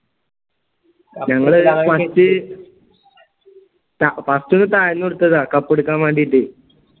ഞങ്ങള് first ഒന്ന് തായ്‌ന്ന് കൊടുത്തതാ cup എടുക്കാൻ വേണ്ടിയിട്ട്